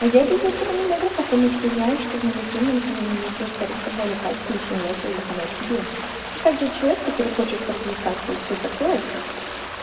а я без этого не могу потому что знаю что в маникюрном салоне мне сделают гораздо более качественнее чем я сделаю сама себе точно так же человек который хочет поразвлекаться и всё такое